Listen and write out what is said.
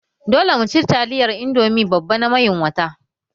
Dole mu ci taliyar Indomi babba na mayun wata!